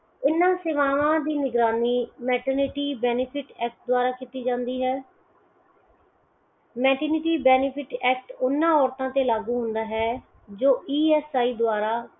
ਇਨਾਂ ਸੇਵਾਵਾਂ ਦੀ ਨਿਗਰਾਨੀ maternity benefit act ਦਵਾਰਾ ਕੀਤੀ ਜਾਂਦੀ ਹੈ । maternity benefit act ਓਹਨਾਂ ਲੋਕਾਂ ਤੇ ਲਾਗੂ ਹੁੰਦਾ ਹੈ ਜੋ EMI ਦਵਾਰਾਂ